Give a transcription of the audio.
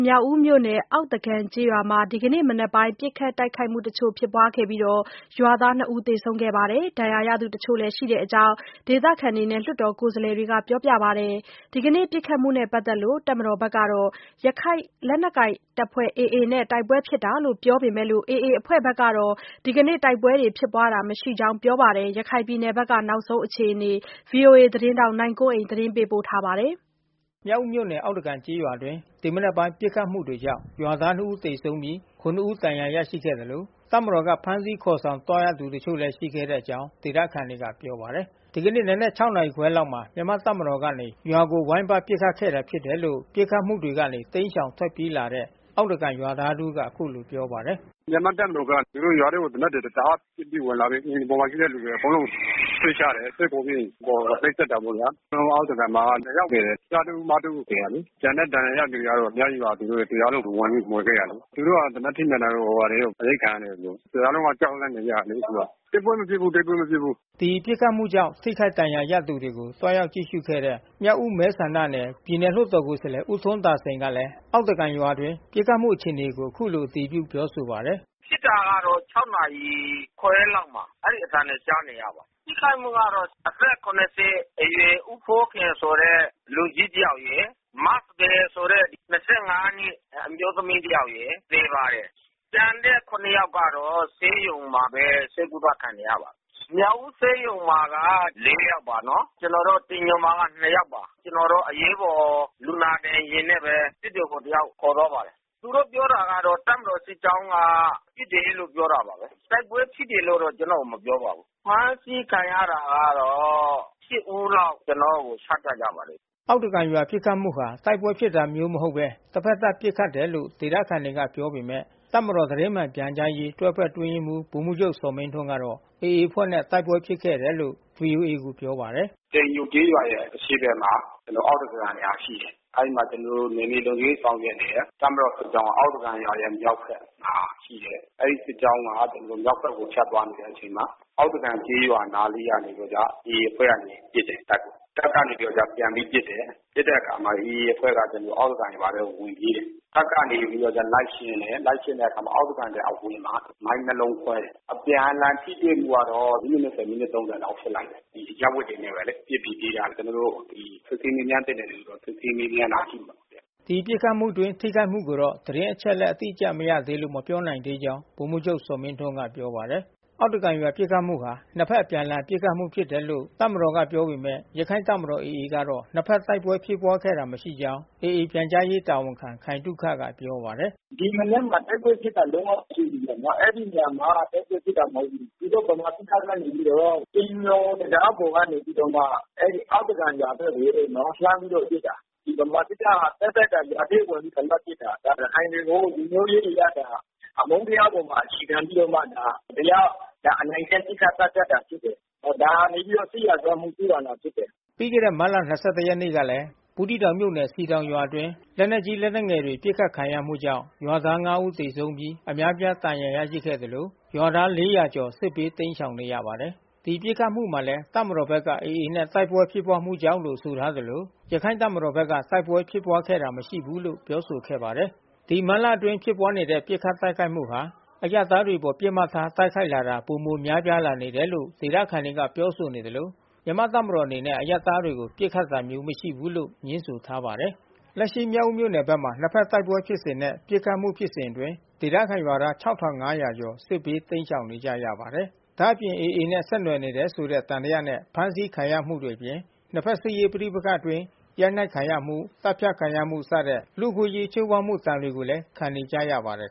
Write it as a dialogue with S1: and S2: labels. S1: မြောက်ဦးမြို့နယ် အောက်သကန်ကျေးရွာမှာ ဒီကနေ့မနက်ပိုင်းက ပစ်ခတ်တိုက်ခိုက်မှု တချို့ ဖြစ်ပွားခဲ့ပြီး ရွာသား ၂ ဦးသေဆုံးပြီး ဒဏ်ရာရသူတချို့ ရှိတဲ့အကြောင်း ဒေသခံနဲ့ လွှတ်တော်ကိုယ်စားလှယ်တွေကပြောပါတယ်။ ဒီကနေ့ ပစ်ခတ်မှုနဲ့ပတ်သက်လို့ တပ်မတော်က ရခိုင်လက်နက်ကိုင်အဖွဲ့ AA နဲ့ တိုက်ပွဲဖြစ်တာလို့ ပြောပေမဲ့ AA အဖွဲ့ ကတော့ ဒီကနေ့ တိုက်ပွဲဖြစ်ပွားတာမရှိကြောင်း ပြောပါတယ်။ ရခိုင်ပြည်နယ်ဘက်က နောက်ဆုံး အခြေအနေကို ဗွီအိုအေ မြန်မာပိုင်းသတင်းထောက် နိုင်ကွန်းအိန်က သတင်းပေးပို့ထားပါတယ်
S2: ။ မြောက်ဦးမြို့နယ် အောက်သကန်ကျေးရွာအတွင်း ဒီမနက်ပိုင်း ပစ်ခတ်မှုတွေကြောင့် ရွာ သား နှစ်ဦးသေဆုံးပြီး ခုနစ်ဦး ဒဏ်ရာရခဲ့သလို တပ်မတော်က ဖမ်းဆီးခေါ်ဆောင် ခံရသူ တချို့လည်းရှိခဲ့တဲ့အကြောင်း ဒေသခံတွေ ပစ်ခတ်မှုတွေကနေ တိမ်းရှောင် ထွက်ပြေး လာတဲ့ အောက်သ ကန်ရွာသားတဦးက အခုလို ပြောပါတယ်။
S3: “မြန်မာ့တပ်မတော်က ရွာထဲကိုသေနတ်တွေ
S1: တအားပစ်ပြီး ဝင်လာတယ်။ အိမ်ပေါ်မှာ ရှိတဲ့ လူအကုန်လုံးကို ဆွဲချ တယ်။ ဆွဲခေါ်ပြီးရင် ခေါ်နှိပ်စက်တာပေါ့ဗျာ။ အားလုံး အောက်သကန်မှာ ၂ ယောက်သေတယ်။ ကျားတဦး၊ မ တ ဦး သေတာလေ။ ကျန်တဲ့ ဒဏ်ရာရတဲ့ သူအများကြီးပါ။ တရွာလုံးကိုဝင်ပြီး မွှေခဲ့တယ်လေ။ သေနတ်ထိမှန် တာ တွေရော အရိုက်ခံရတယ်သူတို့။ တရွာလုံးက ကြောက်လန့်နေကြတယ်လေ အခုက။ တိ
S2: ုက်ပွဲမဖြစ်ဘူး၊ တိုက်ပွဲ မဖြစ်ဘူး။” ဒီပစ်ခတ်မှုကြောင့် ထိခိုက်ဒဏ်ရာရသူတွေကို သွားရောက်ကြည့်ရှုခဲ့တဲ့ မြောက်ဦး မဲ ဆန္ဒနယ် ပြည်နယ် လွှတ်တော်ကိုယ်စားလှယ် ဦးထွန်းသာစိန်ကလည်း အောက်သကန် ရွာအတွင်း ပစ်ခတ်မှုအခြေအနေကို အခုလို အတည်ပြုပါတယ်။ “ဖ
S3: ြစ်တာကတော့ ၆ နာရီခွဲလောက်က အဲဒီအသံကြားရပါတယ်။ ထိခိုက်မှုကတော့ အသက် ၇၀ အရွယ် ဦးဖိုးခင်ဆိုတဲ့ လူကြီးတယောက်ရယ်။ မစံပယ်ဆိုတဲ့ ၂၅ နှစ် အမျိုး သမီးတယောက်ရယ် သေပါတယ်။ ကျန်တဲ့ ၇ ယောက်ကတော့ ဆေးရုံမှာပဲ ဆေးကုသ ခံနေရပါတယ်။ မြောက်ဦဆေးရုံမှာက ၄ ယောက်ပါနော်။ ကျနော်တို့ တိမ်ညိုမှာတော့ ၂ ယောက်ပါ။ အရေးပေါ်လူနာတင်ယာဉ်နဲ့ဘဲ စစ်တွေကိုတယောက်ခေါ်သွားပါတယ်။ သူတို့ ပြောတာကတော့ တပ်မတော်စစ်ကြောင်းက ပစ်တယ်လို့ပြောတာပါပဲ။ တိုက်ပွဲဖြစ်တယ် လို့တော့ ကျနော့်ကို မပြောပါဘူး။ အဖမ်းဆီးခံရတာကတော့ ၈ ဦးလောက် ကျနော့်ကို ချပြကြပါတယ်။
S2: ” အောက်သကန်ရွာပစ်ခတ်မှုဟာ တိုက်ပွဲဖြစ်တာမျိုးမဟုတ်ဘဲ တဖက်သတ်ပစ်ခတ် တယ် လို့ ဒေသခံတွေက ပြောပေမဲ့ တပ်မတော်သတင်းမှန်ပြန်ကြားရေး တွဲဘက်အတွင်းရေးမှူး ဗိုလ်မှူးချုပ်ဇော်မင်းထွန်းကတော့ AA အဖွဲ့နဲ့ တိုက်ပွဲဖြစ်ခဲ့တာလို့ ဗွီအိုအေကို ပြောပါ တယ်
S3: ။ “တိမ်ညိုကျေးရွ
S1: ာရဲ့အရှေ့ဘက်မှာ အောက်သကန်ဆိုတဲ့ရွာ ရှိတယ်။ အဲဒီမှာ ကျနော်တို့ နယ်မြေလုံခြုံရေး ဆောင်ရွက်နေတဲ့တပ်မတော်စစ်ကြောင်းက အောက်သကန်ရွာရဲ့ မြောက်ဘက်မှာ အဲဒီစစ်ကြောင်းက ဖြတ်သွား နေတဲ့အချိန်မှာ အောက်သကန် နားလေး က နေပြီးတော့မှ AA အဖွဲ့ကနေ တပ်ကို ပစ်တယ်။ တပ်ကနေပြီးတော့ ပြန်ပြီး ပစ်တယ်။ ပစ်တဲ့အခါမှာ AA အဖွဲ့က အောက်သကန်ရွာထဲဝင်ပြီး ပြေးတယ်။ တပ်ကနေပြီး လိုက်ရှင်း တယ်။ လိုက်ရှင်းတော့အောက်သကန်ရွာရဲ့အဝင်မှာ မိုင်းနှစ်လုံးခွဲတယ်။ အပြန်အလှန် ထိတွေ့မှုကတော့ မိနစ် ၂၀၊ မိနစ် ၃၀ လောက်ဖြစ်နိုင်တယ်။ အရပ်ဝတ်တွေနဲ့ပဲလေ ပစ်ပြီး ပြေးကြတယ်။ စစ်ဆေးမေးမြန်းသင့်တဲ့ လူတွေကို တော့ ကျနော်တို့ စစ်ဆေး မေးမြန်း တာ ရှိပါတ
S2: ယ်။” ဒီလိုပစ်ခတ်မှုအတွင်း ထိခိုက်မှုကိုတော့ သတင်းအချက်အလက် အတိအကျမရသေးလို့ မပြောနိုင်သေးကြောင်း ဗိုလ်မှူးချုပ်ဇော်မင်းထွန်းက ပြောပါတယ်။ အောက်သကန်ရွာပစ်ခတ်မှုဟာ နှစ်ဘက် အပြန်အလှန် ပစ်ခတ်မှုဖြစ်တယ်လို့ တပ်မတော် ကပြောပေမဲ့ ရခိုင့် တပ်မတော် AA ကတော့ နှစ်ဘက်တိုက်ပွဲဖြစ်ခဲ့တာ မရှိကြောင်း AA ပြန်ကြားရေးတာဝန်ခံခိုင်သုခက ပြောဆို ပါတယ်။ “ဒီမနက်မ
S3: ှာတိုက်ပွဲဖြစ်တာလုံးဝ မရှိဘူးဗျနော်။ အဲဒီရွာမှာတိုက်ပွဲဖြစ်တာမဟုတ်ဘူး။ သူ တို့ ဗမာစစ်တပ်က နေပြီးတော့ တိမ်ညိုတံတားပေါ်ကနေပြီးတော့မှ အောက်သ
S1: ကန်ရွာ ဘက်ကိုလှမ်းပြီးတော့ပစ်တာ။ ဒီဗမာစစ်တပ် ဟာ သက်သက် ရွာထဲဝင်ပြီး အဓမ္မပစ်တာ။
S3: ဒါ ရခိုင်တွေကိုလူမျိုးရေးအရအမုန်းတရားအပေါ် အခြေခံပြီးတော့ မတရားအနိုင်ကျင့် ပစ်ခတ်သတ်ဖြတ်တာဖြစ်တယ်။ ဒါဟာနေပြီးတော့ စစ်ရာဇဝတ်မှု ကျူးလွန်တာဖြစ်တယ်။
S2: ” ပြီးခဲ့တဲ့မတ်လ ၂၁ ရက်နေ့ကလည်း ဘူးသီးတောင် မြို့နယ်စည်တောင်ရွာအတွင်းမှာ လက်နက်ကြီး လက်နက်ငယ်တွေနဲ့ ပစ်ခတ်ခံရမှုကြောင့်ရွာသား ၅ ဦးသေဆုံးပြီး အများ အပြားဒဏ်ရာရရှိခဲ့သလို လူဦးရေ ၄၀၀ ကျော် စစ်ဘေးတိမ်းရှောင်နေရပါတယ်။ ဒီပစ်ခတ်မှုမှာလည်း တပ်မတော်ဘက်က AA နဲ့ တိုက်ပွဲဖြစ်ပွါးမှုကြောင့်လို့ ပြောဆို ထားသလို ရခိုင့်တပ်မတော် ဘက်က တိုက်ပွဲဖြစ်ပွါးခဲ့တာမရှိဘူးလို့ ပြောဆိုခဲ့ပါတယ်။ မတ်လအတွင်းဖြစ်ပွါးနေတဲ့ ပစ်ခတ်တိုက်ခိုက်မှုဟာ အရပ်သားတွေအပေါ်ပစ်မှတ်ထား တိုက်ခိုက်လာတာ ပိုမို များပြားလာနေတယ်လို့ ဒေသခံတွေကပြောဆိုနေသလို မြန်မာ့ တပ်မတော်အနေနဲ့ အရပ်သားတွေကို ပစ်ခတ် တာမရှိဘူးလို့ ငြင်းဆိုထားပါတယ်။ လက်ရှိမြောက်ဦးမြို့နယ်ဘက်မှာ နှစ်ဖက်တိုက်ပွဲဖြစ်စဉ်နဲ့ ပစ်ခတ်မှုဖြစ်စဉ်အတွင်း ဒေသခံရွာသား ၆၅၀၀ ကျော် စစ်ဘေးတိမ်းရှောင်နေကြရပါတယ်။ ဒါ့အပြင် AA နဲ့ဆက်နွယ်နေတယ်ဆိုတဲ့သံသယနဲ့ ဖမ်းဆီးခံနေရမှုတွေအပြင် နှစ်ဖက် စစ်ရေးပဋိပက္ခအတွင်း ရိုက်နှက်ခံရမှု သတ်ဖြတ်ခံရမှုစတဲ့ လူ့အခွင့်အရေးချိုးဖေါက်မှု ဒဏ်တွေကိုလည်း ခံနေကြရပါတယ်